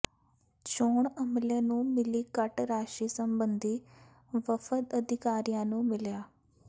ਚੋਣ ਅਮਲੇ ਨੂੰ ਮਿਲੀ ਘੱਟ ਰਾਸ਼ੀ ਸਬੰਧੀ ਵਫ਼ਦ ਅਧਿਕਾਰੀਆਂ ਨੂੰ ਮਿਲਿਆ